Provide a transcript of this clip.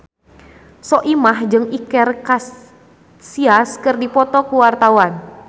Soimah jeung Iker Casillas keur dipoto ku wartawan